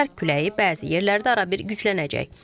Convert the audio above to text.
Şərq küləyi bəzi yerlərdə arabir güclənəcək.